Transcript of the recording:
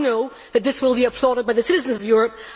I know that this will be applauded by the citizens of Europe.